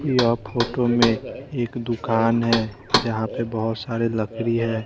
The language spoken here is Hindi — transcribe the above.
यह फोटो में एक दुकान है जहां पे बहोत सारे लकड़ी है।